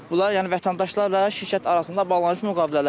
Bunlar yəni vətəndaşlarla şirkət arasında bağlanmış müqavilələrdir.